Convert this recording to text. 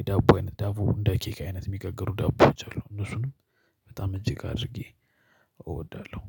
የዳቦ አይነት ዳቦ እንደ ኬክ አይነት የሚጋገሩ ዳቦዎች አሉ እነሱንም በጣም እጅግ አድርጌ እወዳለሁ።